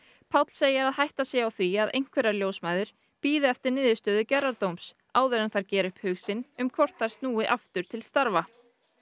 Páll segir að hætta sé á því að einhverjar ljósmæður bíði eftir niðurstöðu gerðardóms áður en þær gera upp hug sinn um hvort þær snúi aftur til starfa